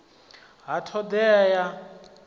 ha t hod ea ya